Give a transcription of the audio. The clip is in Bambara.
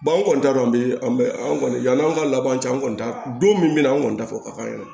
an kɔni t'a dɔn bi an bɛ an kɔni yann'an ka laban cɛ an kɔni t'a don min na an kɔni t'a fɔ ka ban